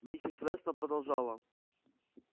миссис вестон продолжала